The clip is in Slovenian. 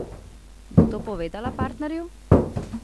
Bo to povedala partnerju?